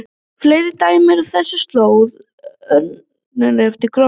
Fleiri dæmi eru á þessum slóðum um örnefnið Gorm.